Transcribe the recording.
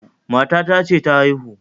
matata ce ta haihu